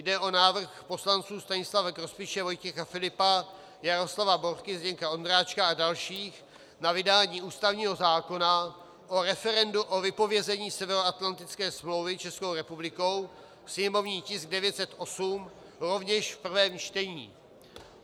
Jde o návrh poslanců Stanislava Grospiče, Vojtěcha Filipa, Jaroslava Borky, Zdeňka Ondráčka a dalších na vydání ústavního zákona o referendu o vypovězení Severoatlantické smlouvy Českou republikou, sněmovní tisk 908, rovněž v prvním čtení.